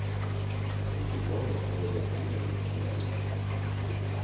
Musikaliskt var det desto mer imponerande.